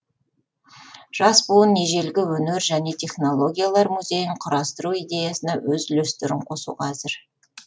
жас буын ежелгі өнер және технологиялар музейін құрастыру идеясына өз үлестерін қосуға әзір